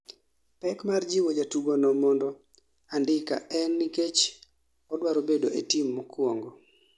Pek mar jiwo jatugo no mendo andika en nikech odwaro bedo e team mokwongo